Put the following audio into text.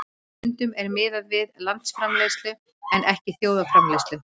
Stundum er miðað við landsframleiðslu en ekki þjóðarframleiðslu.